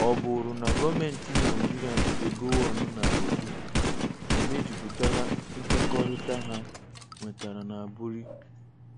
Ọ bụrụ na gọọmentị Naijiria nke Gowon na-edu emejuputala nkwekọrịta ha nwetara na Aburi?